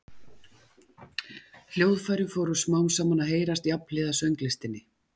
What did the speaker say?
Hljóðfæri fóru smám saman að heyrast jafnhliða sönglistinni.